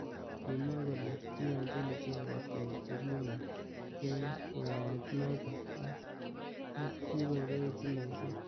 Kimwa kole kiyonjin icheket koek chekimen eng yaet notok aki kiboiboji missing.